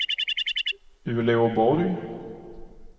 Uleåborg